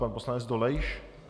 Pan poslanec Dolejš?